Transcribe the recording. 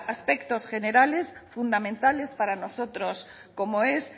aspectos generales fundamentales para nosotros como es